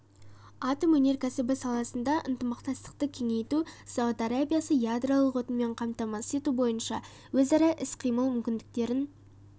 атом өнеркәсібі саласында ынтымақтастықты кеңейту сауд арабиясы ядролық отынмен қамтамасыз ету бойынша өзара іс-қимыл мүмкіндіктерін